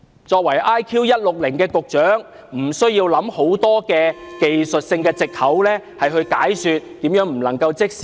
作為 IQ 160的局長，他無需想出很多技術性的藉口，解說為何不能即時落實。